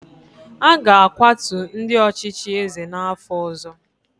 A ga-akwatu ndị ọchịchị eze n’afọ ọzọ